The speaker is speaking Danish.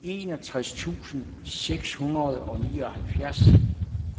enogtres tusind seks hundrede og nioghalvfjerds